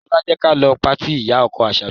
Ṣọlá, jẹ́ ka lọ patí ìyá-ọkọ Àṣàbí.